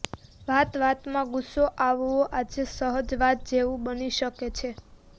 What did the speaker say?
વાતવાતમાં ગુસ્સો આવવો આજે સહજ વાત જેવું બની શકે છે